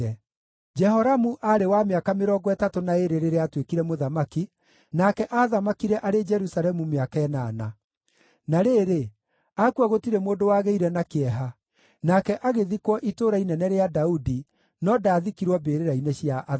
Jehoramu aarĩ wa mĩaka mĩrongo ĩtatũ na ĩĩrĩ rĩrĩa aatuĩkire mũthamaki, nake aathamakire arĩ Jerusalemu mĩaka ĩnana. Na rĩrĩ, akua gũtirĩ mũndũ wagĩire na kĩeha, nake agĩthikwo Itũũra Inene rĩa Daudi, no ndaathikirwo mbĩrĩra-inĩ cia athamaki.